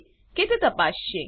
છે કે તે તપાસસે